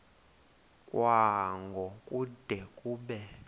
kwango kude kube